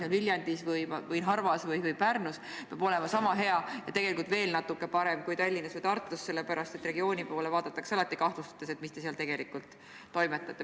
Õpe, mida antakse Viljandis, Narvas või Pärnus, peab olema sama hea ja tegelikult veel natuke parem kui Tallinnas või Tartus antav – regiooni poole vaadatakse alati kahtlustades, et mis te seal tegelikult toimetate.